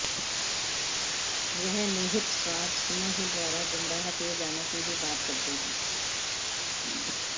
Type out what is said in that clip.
वह निहित स्वार्थ समूहों द्वारा गुमराह किये जाने की भी बात करते हैं